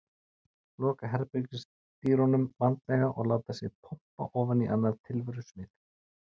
Loka herbergisdyrunum vandlega og láta sig pompa ofan á annað tilverusvið.